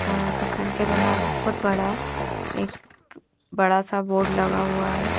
और दुकान के बहार बहोत बड़ा एक बड़ा सा बोर्ड लगा हुआ है।